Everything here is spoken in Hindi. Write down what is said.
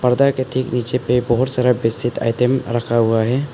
पर्दा के ठीक नीचे पे बहुत सारा बेडशीट आइटम रखा हुआ है।